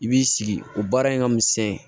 I b'i sigi o baara in ka misɛn